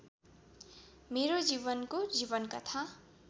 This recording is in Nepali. मेरो जीवनको जीवनकथा